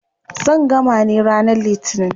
Zan gama ne ranar litinin.